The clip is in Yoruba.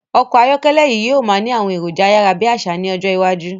Ọkọ̀ ayọ́kẹ́lẹ̀ yí o máa ni àwọn èròjà ayárábiàsà ni ọjọ́ iwájú